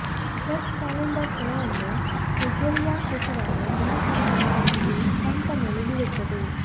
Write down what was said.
church calendar ಕೆಲವೊಮ್ಮೆ Sergei ಹೆಸರನ್ನು ದಿನ ತಿಳಿದಿಲ್ಲ ಇದು ಸಂತ ಮೇಲೆ ಬೀಳುತ್ತದೆ